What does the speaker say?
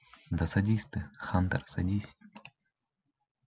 да садись ты хантер садись